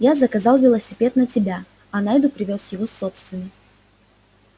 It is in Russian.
я заказал велосипед на тебя а найду привёз его собственный